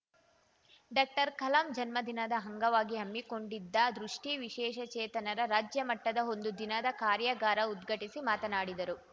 ಡಾಕ್ಟರ್ಕಲಾಂ ಜನ್ಮದಿನದ ಅಂಗವಾಗಿ ಹಮ್ಮಿಕೊಂಡಿದ್ದ ದೃಷ್ಟಿವಿಶೇಷ ಚೇತನರ ರಾಜ್ಯ ಮಟ್ಟದ ಒಂದು ದಿನದ ಕಾರ್ಯಾಗಾರ ಉದ್ಘಾಟಿಸಿ ಮಾತನಾಡಿದರು